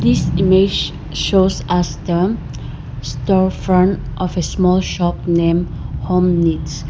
This image shows us the store front of a small shop name home needs.